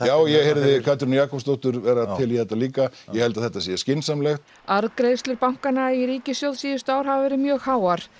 já ég heyrði Katrínu Jakobsdóttur vera til í þetta líka ég held að þetta sé skynsamlegt arðgreiðslur bankanna í ríkissjóðs síðustu ár hafa verið mjög háar